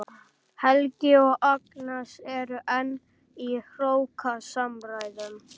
Helgi og Agnes eru enn í hrókasamræðum.